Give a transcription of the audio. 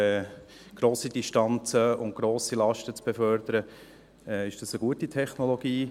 Um grosse Distanzen und grosse Lasten zu befördern ist das eine gute Technologie.